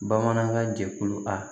Bamanankan jɛkulu a